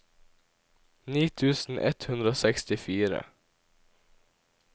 ni tusen ett hundre og sekstifire